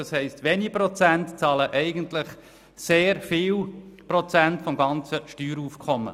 Das heisst, wenige Prozente der Besteuerten zahlen sehr viele Prozente des gesamten Steueraufkommens.